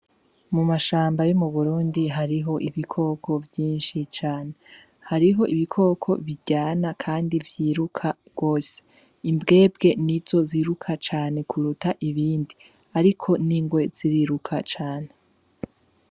Mu mashamba yo mu Burundi hariho ibikoko vyinshi cane. Hariho ibikoko biryana kandi vyiruka gose. Imbwembwe nizo ziruka cane kuruta ibindi, ariko n'ingwe ziriruka cane.